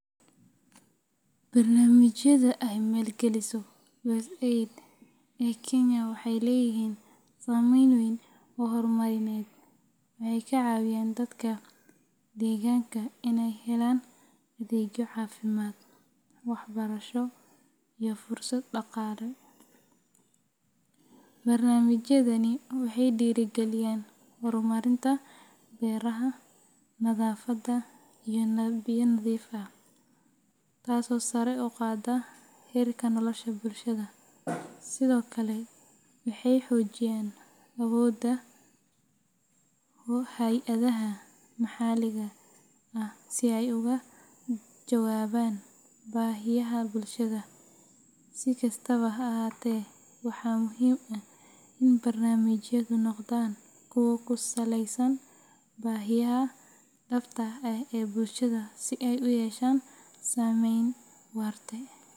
Barnaamijyada ay maalgeliso USAID ee Kenya waxay leeyihiin saameyn weyn oo horumarineed. Waxay ka caawiyaan dadka deegaanka inay helaan adeegyo caafimaad, waxbarasho, iyo fursado dhaqaale. Barnaamijyadani waxay dhiirrigeliyaan horumarinta beeraha, nadaafadda, iyo biyo nadiif ah, taasoo sare u qaada heerka nolosha bulshada. Sidoo kale, waxay xoojiyaan awoodda hay’adaha maxalliga ah si ay uga jawaabaan baahiyaha bulshada. Si kastaba ha ahaatee, waxaa muhiim ah in barnaamijyadu noqdaan kuwo ku saleysan baahiyaha dhabta ah ee bulshada si ay u yeeshaan saameyn waarta.